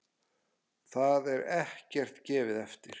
Þar er ekkert gefið eftir.